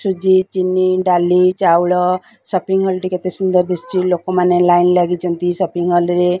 ସୁଜି ଚିନି ଡାଲି ଚାଉଳ ସ ପିଙ୍ଗ ହଲ ଟି କେତେ ସୁନ୍ଦର ଦେଖାଯାଉଛି ଲୋକମାନେ ଲାଇନ ଲାଗିଛନ୍ତି ସପିଙ୍ଗ ହଲ ରେ।